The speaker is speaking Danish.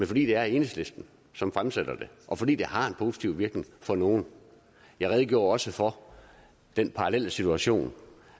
fordi det er enhedslisten som fremsætter det og fordi det har en positiv virkning for nogle jeg redegjorde også for den parallelle situation